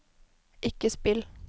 ikke spill